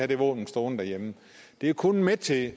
det våben stående derhjemme det er kun med til